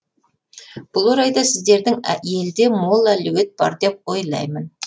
бұл орайда сіздердің елде мол әлеует бар деп ойлаймын